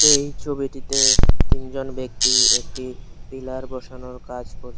এই ছবিটিতে তিনজন ব্যক্তি একটি পিলার বসানোর কাজ কর--